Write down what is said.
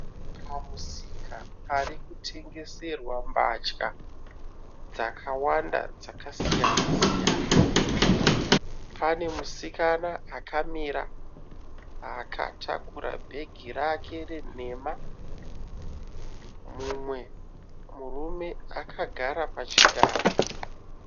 Pamusika pari kutengeserwa mbatya dzakawanda dzakasiyana siyana. Pane musikana akamira akatakura bhege rake renhema. Mumwe murume akagara pachigaro.